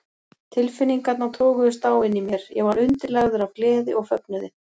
Tilfinningarnar toguðust á inni í mér: Ég var undirlagður af gleði og fögnuði